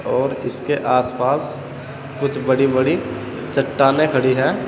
और इसके आसपास कुछ बड़ी बड़ी चट्टानें खड़ी हैं।